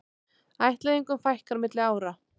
Ættleiðingum fækkar milli ára